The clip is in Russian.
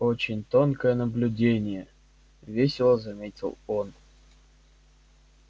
очень тонкое наблюдение весело заметил он